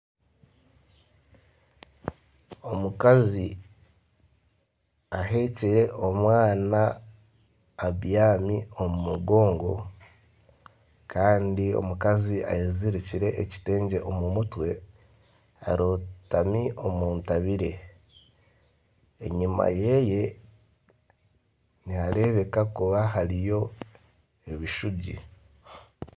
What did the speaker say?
Omukazi aheekire omwana abyami omu mugongo kandi omukazi ayezirikire ekitengye omu mutwe arotami omuntabire enyuma yeeye nihareebeka kuba hariyo ebishuugi.